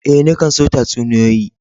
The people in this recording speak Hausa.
Eh, ni kan son tatsuniyoyi.